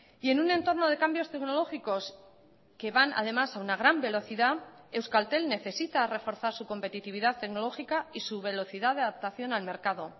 y en un entorno de cambios tecnológicos que van además a una gran velocidad euskaltel necesita reforzar su competitividad tecnológica y su velocidad de adaptación al mercado